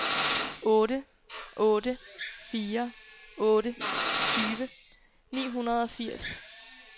otte otte fire otte tyve ni hundrede og firs